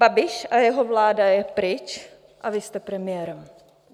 Babiš a jeho vláda je pryč a vy jste premiérem.